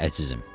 Əzizim.